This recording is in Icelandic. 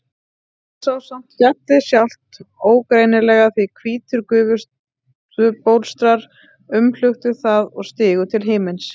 Hún sá samt fjallið sjálft ógreinilega því hvítir gufubólstrar umluktu það og stigu til himins.